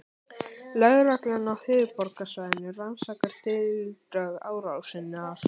Lögreglan á höfuðborgarsvæðinu rannsakar tildrög árásarinnar